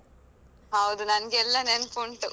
ಹೌದು ನಂಗೆ ಎಲ್ಲ ನೆನ್ಪುಂಟು.